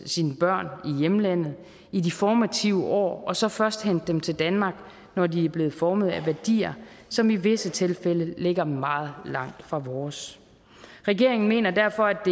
sine børn i hjemlandet i de formative år og så først hente dem til danmark når de er blevet formet af værdier som i visse tilfælde ligger meget langt fra vores regeringen mener derfor at